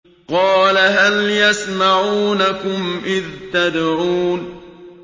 قَالَ هَلْ يَسْمَعُونَكُمْ إِذْ تَدْعُونَ